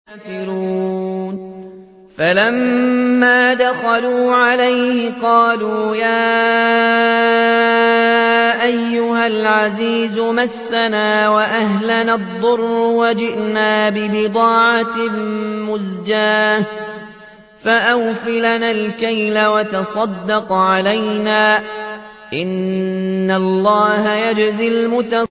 فَلَمَّا دَخَلُوا عَلَيْهِ قَالُوا يَا أَيُّهَا الْعَزِيزُ مَسَّنَا وَأَهْلَنَا الضُّرُّ وَجِئْنَا بِبِضَاعَةٍ مُّزْجَاةٍ فَأَوْفِ لَنَا الْكَيْلَ وَتَصَدَّقْ عَلَيْنَا ۖ إِنَّ اللَّهَ يَجْزِي الْمُتَصَدِّقِينَ